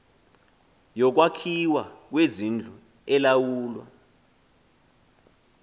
yokwakhiwa kwezindlu elawulwa